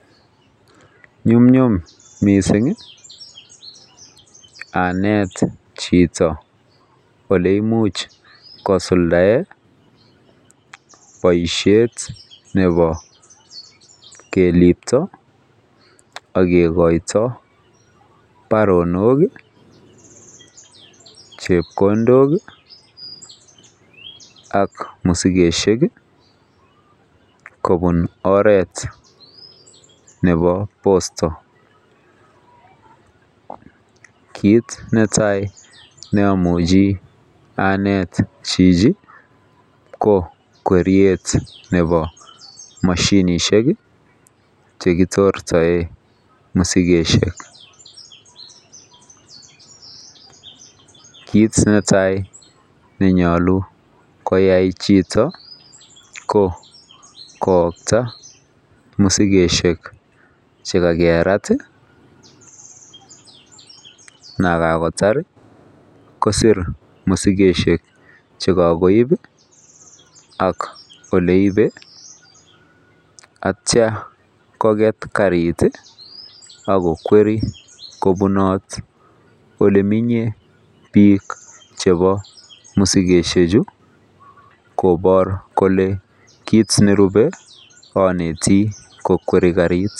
Yumnyum missingi anet chito ole imuch kosuldae boishet nebo kelipto ak kekoito baronok. kii chepkondok kii ak maskishek kobun oret nebo posto. Kit netai ne imuchi anet chichi ko kweriet nebo moshinishek chekitortoen moshinishek, kit netai nenyolu koyai chito ko koyokta mosikoshek chekakerat tii yekakotar kosir mosikoshek chekokoib ak ole ibe ak ityo kokwet karit ak kokwerie kobunot. Ole menye bik chebo mosikoshek chuu kobor kole kit neribe onetii ko kweriet karit .